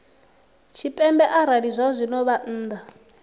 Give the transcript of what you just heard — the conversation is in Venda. tshipembe arali zwazwino vha nnḓa